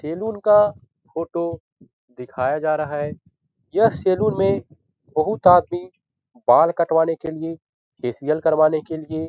salon का photo दिखाया जा रहा है यह सैलून में बहुत आदमी बाल कटवाने के लिए फेशियल करवाने के लिए --